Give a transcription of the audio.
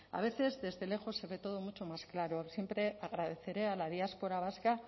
a veces desde lejos se ve todo mucho más claro siempre agradeceré a la diáspora vasca